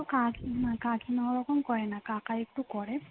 কিন্তু কাকিমা কাকিমা ওরকম করে না কাকা একটু করে